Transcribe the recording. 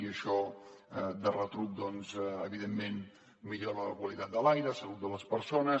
i això de retruc evidentment millora la qualitat de l’aire la salut de les persones